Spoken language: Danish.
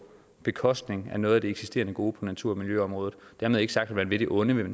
bekostning af noget af det eksisterende gode på natur og miljøområdet dermed ikke sagt at man vil det onde